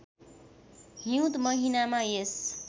हिउँद महिनामा यस